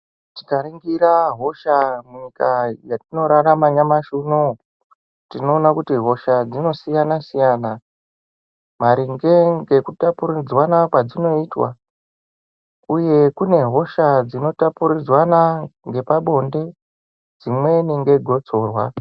Tika ningira hosha mu nyika yatino rarama nyamashi unowu tino ona kuti hosa dzino siyana siyaya maringe ngeku tapuridzwana kwadzinoitwa uye kune hosha dzino tapuridzwana ngepa bonde dzimweni nge gotsorwa.